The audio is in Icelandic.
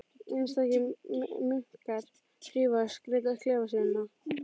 Einstakir munkar þrífa og skreyta klefa sína.